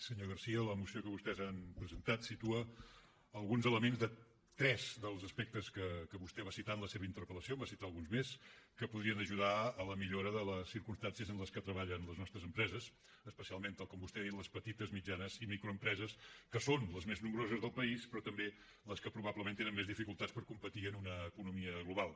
senyor garcía la moció que vostès han presentat situa alguns elements de tres dels aspectes que vostè va citar en la seva interpel·lació en va citar alguns més que podrien ajudar a la millora de les circumstàncies en les que treballen les nostres empreses especialment tal com vostè ha dit les petites mitjanes i microempreses que són les més nombroses del país però també les que probablement tenen més dificultats per competir en una economia global